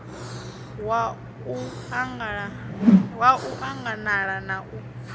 wa u anganala na u